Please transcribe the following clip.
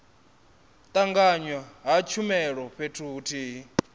tanganywa ha tshumelo fhethu huthihi